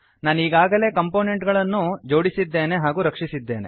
ನಾನೀಗಾಗಲೇ component ಗಳನ್ನು ಜೋಡಿಸಿದ್ದೇನೆ ಹಾಗೂ ರಕ್ಷಿಸಿದ್ದೇನೆ